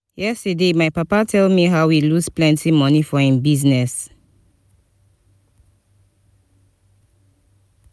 yesterday my papa tell me how he lose plenty money for im business